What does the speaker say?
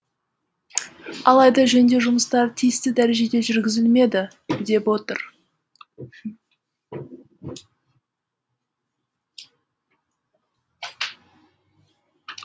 алайда жөндеу жұмыстары тиісті дәрежеде жүргізілмеді деп отыр